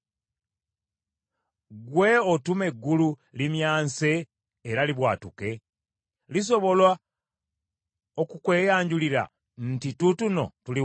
Ggwe otuma eggulu limyanse era libwatuke? Lisobola okukweyanjulira nti, ‘Tuutuno tuli wano’?